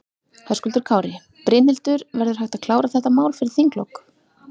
Höskuldur Kári: Brynhildur, verður hægt að klára þetta mál fyrir þinglok?